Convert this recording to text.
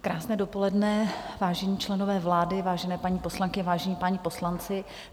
Krásné dopoledne, vážení členové vlády, vážené paní poslankyně, vážení páni poslanci.